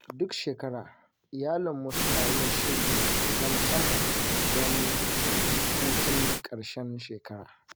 Duk shekara, iyalanmu suna yin shiri na musamman don hutun ƙarshen shekara.